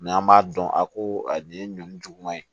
N'an b'a dɔn a ko a nin ye ɲɔn juguman ye